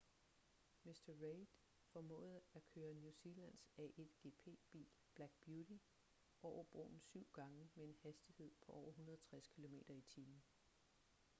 mr reid formåede at køre new zealands a1gp-bil black beauty over broen syv gange med en hastighed på over 160 km/t